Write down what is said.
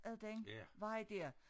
Ad den vej dér